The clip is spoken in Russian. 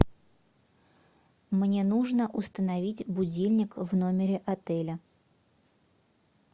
мне нужно установить будильник в номере отеля